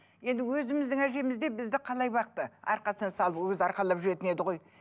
енді өзіміздің әжеміз де бізді қалай бақты арқасына салып ол кезде арқалап жүретін еді ғой